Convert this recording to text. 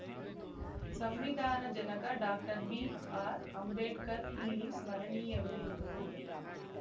ಸಂವಿಧಾನ ಜನಕ doctor B R Ambedkar ಇಲ್ಲಿ ಸ್ಮರಣೀಯರು ಎಂದರು